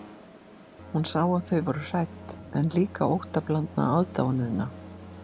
Hún sá að þau voru hrædd, en líka óttablandna aðdáunina.